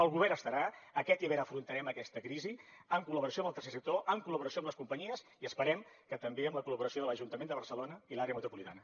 el govern estarà aquest hivern afrontarem aquesta crisi en col·laboració amb el tercer sector en col·laboració amb les companyies i esperem que també amb la collaboració de l’ajuntament de barcelona i l’àrea metropolitana